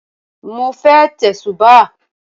Mo fẹ́ tẹ̀sùbáà